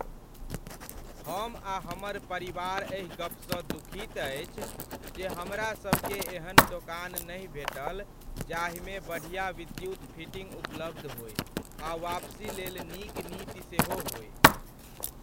हम आ हमर परिवार एहि गपसँ दुखित अछि जे हमरा सभकेँ एहन दोकान नहि भेटल जाहिमे बढ़िया विद्युत फिटिंग उपलब्ध होय आ वापसी लेल नीक नीति सेहो होय।